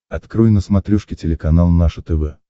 открой на смотрешке телеканал наше тв